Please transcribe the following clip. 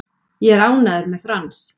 Ég er ánægður með Frans.